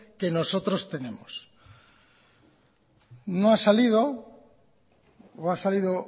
que nosotros tenemos no ha salido o ha salido